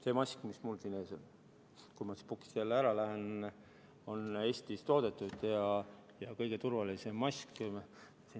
See mask, mis mul siin ees on seni, kuni ma siit puldist jälle ära lähen, on Eestis toodetud ja kõige turvalisem mask.